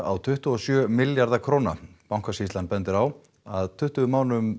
á tuttugu og sjö milljarða króna Bankasýslan bendir á að tuttugu mánuðum